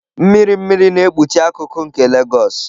Mmiri mmiri na-ekpuchi akụkụ nke Legos.